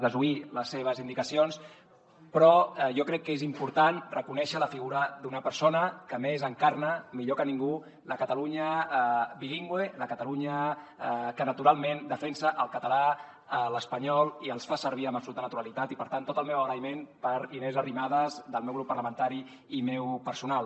desoir les seves indicacions però jo crec que és important reconèixer la figura d’una persona que a més encarna millor que ningú la catalunya bilingüe la catalunya que naturalment defensa el català l’espanyol i els fa servir amb absoluta naturalitat i per tant tot el meu agraïment per inés arrimadas del meu grup parlamentari i meu personal